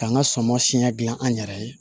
K'an ka sɔm siɲɛ gilan an yɛrɛ ye